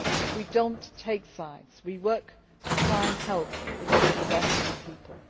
We do not take sides we work to try and help achieve the best for the people.